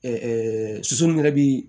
soso min yɛrɛ bi